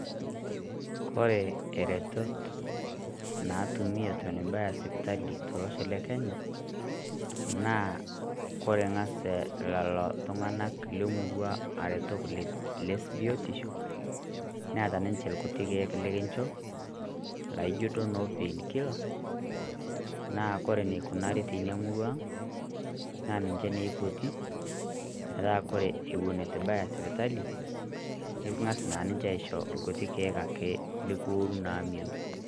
Kore eretot naatumi eton ibaya sipitali tolosho le Kenya, naa kore ing'as lelo ltung'anak le murrua arotok le biotisho neeta ninchee kuutii lkiek likinchoo naijo doo noo painkiller naa kore neikunari murrua ang' naaa ninchee nei eipotii meata ewuen atuibaya sipitali niking'as naa ninchee ashoo kuutii lkiek lokuoru naa miiyoon.